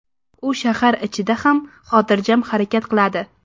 U shahar ichida ham xotirjam harakat qiladi.